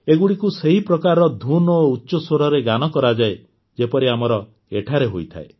ଏଗୁଡ଼ିକୁ ସେହିପ୍ରକାରର ଧୂନ୍ ଓ ଉଚ୍ଚ ସ୍ୱରରେ ଗାନ କରାଯାଏ ଯେପରି ଆମର ଏଠାରେ ହୋଇଥାଏ